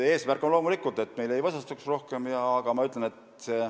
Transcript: Eesmärk on loomulikult see, et meil rohkem maad ei võsastuks.